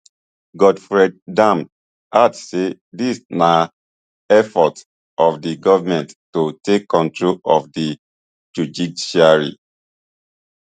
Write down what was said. godfred dame add say dis na effort of di goment to take control of di judiciary